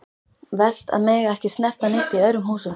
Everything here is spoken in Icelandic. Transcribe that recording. Verst að mega ekki snerta neitt í öðrum húsum.